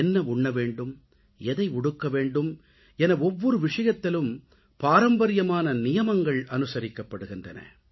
என்ன உண்ண வேண்டும் எதை உடுக்க வேண்டும் என ஒவ்வொரு விஷயத்திலும் பாரம்பரியமான நியமங்கள் அனுசரிக்கப்படுகின்றன